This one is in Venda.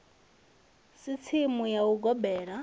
si tsimu ya u gobela